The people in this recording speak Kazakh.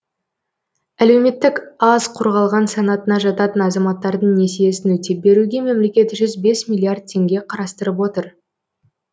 әлеуметтік аз қорғалған санатына жататын азаматтардың несиесін өтеп беруге мемлекет жүз бес миллиард теңге қарастырып отыр